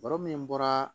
Baro min bɔra